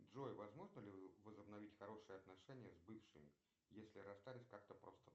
джой возможно ли возобновить хорошие отношения с бывшими если расстались как то просто